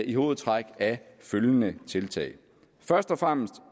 i hovedtræk af følgende tiltag først og fremmest